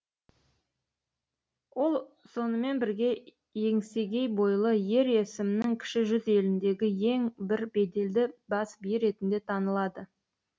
ол сонымен бірге еңсегей бойлы ер есімнің кіші жүз еліндегі ең бір беделді бас биі ретінде танылады